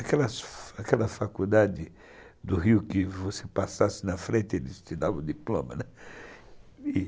Aquela aquela faculdade do Rio que você passasse na frente, eles te davam o diploma, né.